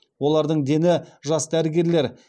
олардың дені жас дәрігерлер